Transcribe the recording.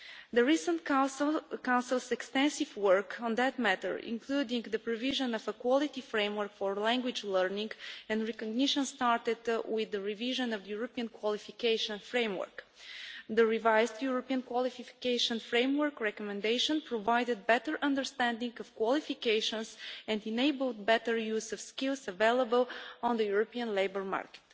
The Council's recent extensive work on that matter, including the provision of a quality framework for language learning and recognition, started with the revision of the European Qualifications Framework. The revised European Qualifications Framework recommendation provided better understanding of qualifications and enabled better use of the skills available on the European labour market.